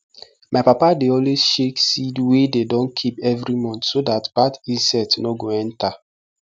my papa dey always shake seed wey dey don keep evri month so dat bad insect nor go enter